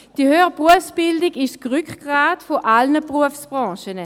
Die höhere Berufsbildung ist das Rückgrat aller Berufsbranchen.